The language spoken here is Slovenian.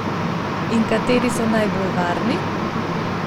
In kateri so najbolj varni?